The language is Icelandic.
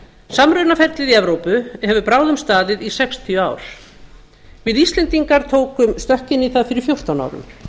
samrunaferlið í evrópu hefur bráðum staðið í sextíu ár við íslendingar tókum stökk inn í það fyrir fjórtán árum